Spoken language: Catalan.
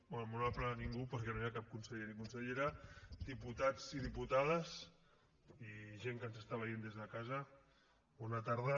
bé molt honorable ningú perquè no hi ha cap conseller ni consellera diputats i diputades i gent que ens està veient des de casa bona tarda